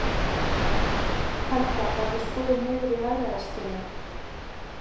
Helga: Verður skorið niður í hagræðingarskyni?